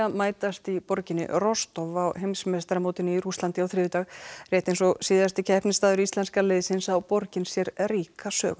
mætast í borginni Rostov á heimsmeistaramótinu í Rússlandi á þriðjudag rétt eins og síðasti keppnisstaður íslenska liðsins á borgin sér ríka sögu